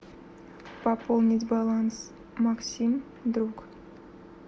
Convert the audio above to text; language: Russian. пополнить баланс максим друг